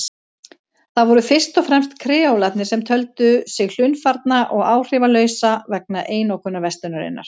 Það voru fyrst og fremst kreólarnir sem töldu sig hlunnfarna og áhrifalausa vegna einokunarverslunarinnar.